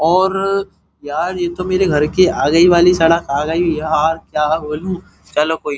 और यार येतो मेरे घर के आगे वाले सड़क आ गई। यार क्या बोलूं। चलो कोई --